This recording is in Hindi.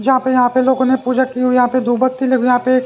जहां पे यहां पे लोगों ने पूजा की हुई यहां पे दो बत्ती लेकिन यहां पे --